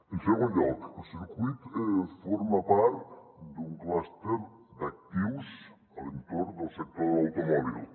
en segon lloc el circuit forma part d’un clúster d’actius a l’entorn del sector de l’automòbil